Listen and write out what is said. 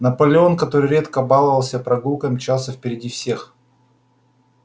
наполеон который редко баловал себя прогулками мчался впереди всех